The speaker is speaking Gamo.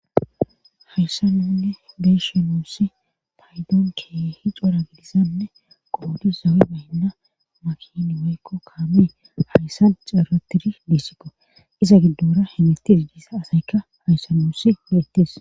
hayssa nunne geyshi nuussi paydoonke hi cora gidisanne qoodus zawe baynna makini weykko kaamee hayssa caratiri dissikqo iza giddora himitti diidisa asayka hayssanuussi leetis